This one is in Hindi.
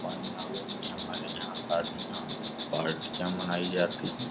पंडालों में हमारे यहाँ शादियाँ पार्टियाँ मनायी जाती हैं।